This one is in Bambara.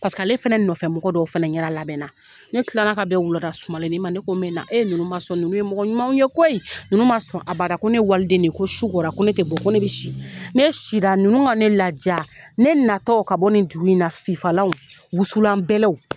Paseke ale fɛnɛ nɔfɛmɔgɔ dɔw fɛnɛ ɲɛda labɛn na ne kila la ka bɛn wuladasumalenni ma ne ko me na e ninnu man sɔn ninnu ye mɔgɔ ɲumanw ye koyi ninnu man sɔn abada ko ne ye waliden de ye ko su ko la ko ne tɛ bɔ ko ne bɛ si ne si la ninnu ka ne laja ne natɔ ka bɔ nin dugu in na fifalanw wusulan bɛlɛw.